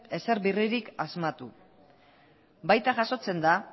berririk asmatu baita jasotzen da